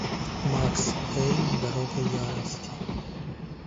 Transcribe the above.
макс пейн дорога ярости